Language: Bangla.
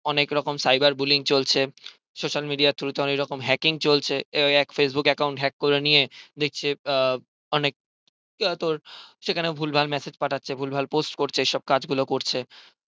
অনেকরকম cyber bullying চলছে social media through তে অনেক রকম hacking চলছে এক facebook account hack করে নিয়ে দেখছে অনেক তোর সেখানে ও ভুলভাল massage পাঠাচ্ছে ভুলভাল post করছে এইসব কাজ গুলো করছে